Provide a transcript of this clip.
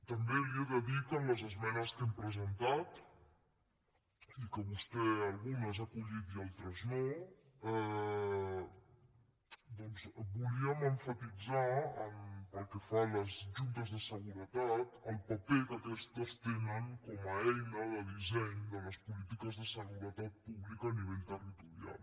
també li he de dir que en les esmenes que hem presentat i que vostè algunes ha acollit i altres no doncs volíem emfatitzar pel que fa a les juntes de seguretat el paper que aquestes tenen com a eina de disseny de les polítiques de seguretat pública a nivell territorial